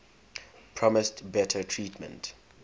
promised better treatment